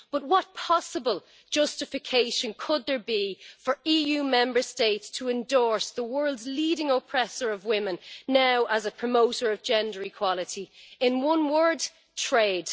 But what possible justification could there be for EU Member States to endorse the world's leading oppressor of women now as a promoter of gender equality? In one word trade!